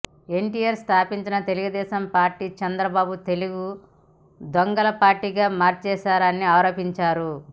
ఎన్టిఆర్ స్థాపించిన తెలుగుదేశం పార్టీని చంద్రబాబు తెలుగు దొంగల పార్టీగా మార్చేశారని ఆరోపించారు